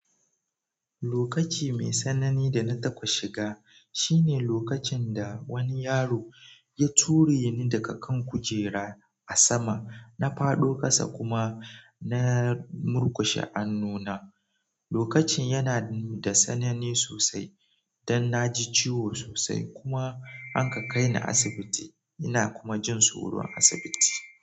Lokaci mai tsanani da na taɓa shiga, shine lokacin da wani yaro ya ture ni daga kan kujera a sama, na fado kasa kuma na murkushe an nuna. Lokacin yana da tsanani sosai don na ji ciwo sosai kuma an ka kai ni asibiti ina kuma jin tsoro a asibiti.